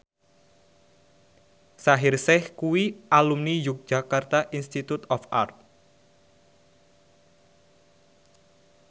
Shaheer Sheikh kuwi alumni Yogyakarta Institute of Art